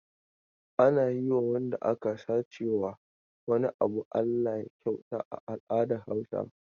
Ana yi wa wanda aka sace wa wani abu Alllah ya kyauta a al'adar Hausawa.